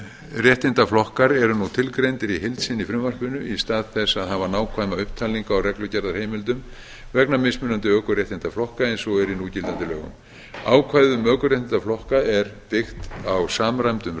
eða forsjármanna ökuréttindaflokkar eru nú tilgreindir í heild sinni í frumvarpinu í stað þess að hafa nákvæma upptalningu á reglugerðarheimildum vegna mismunandi ökuréttindaflokka eins og er í núgildandi lögum ákvæðið um ökuréttindaflokka er byggt á samræmdum